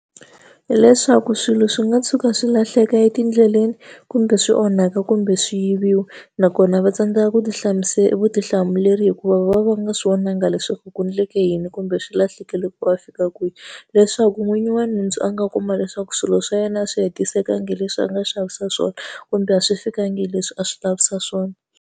Hi leswaku swilo swi nga tshuka swi lahleka etindleleni, kumbe swi onhaka, kumbe swi yiviwa, nakona va tsandzeka ku vutihlamuleri hikuva va va va nga swi vonangi leswaku ku endleke yini kumbe swi lahleke loko va fika kwihi. Leswaku n'winyi wa nhundzu a nga kuma leswaku swilo swa yena a swi hetiselekanga hi leswi a nga xavisa swona, kumbe a swi fikanga hi leswi a swi lavisa swona.